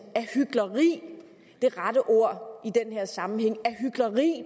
er hykleri det rette ord i den her sammenhæng